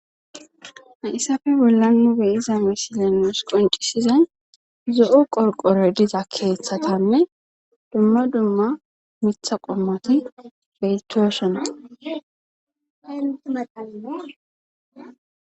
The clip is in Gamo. Hayssafe bolla nu be'iza misile nuus qoncisizay zo7o qorqoroy diza keeththatanne dumma dumma mitha qommoti beytosona madha